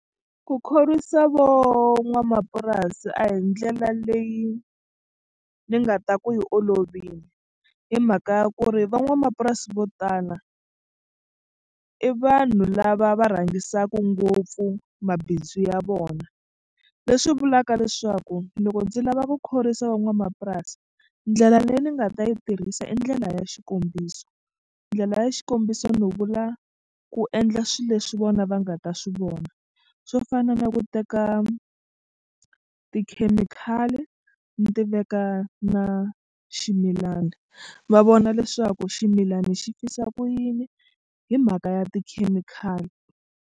Ku khorwisa vo n'wamapurasi a hi ndlela leyi ni nga ta ku yi olovile hi mhaka ya ku ri van'wamapurasi vo tala i vanhu lava va rhangisiwaka ngopfu mabindzu ya vona leswi vulaka leswaku loko ndzi lava ku khorwisa van'wamapurasi ndlela leyi ni nga ta yi tirhisa i ndlela ya xikombiso. Ndlela ya xikombiso ni vula ku endla swilo leswi vona va nga ta swi vona so swo fana na ku teka tikhemikhali ni ti veka na ximilana va vona leswaku ximilana xi fisa ku yini hi mhaka ya tikhemikhali.